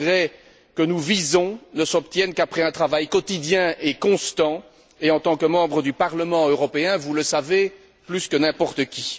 Les progrès que nous visons ne s'obtiennent qu'après un travail quotidien et constant et, en tant que membres du Parlement européen, vous le savez plus que n'importe qui.